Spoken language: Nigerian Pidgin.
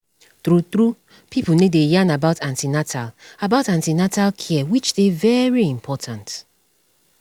true truepipo no dey yarn about an ten atal about an ten atal care which dey very important